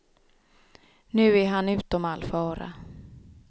Nu är han utom all fara.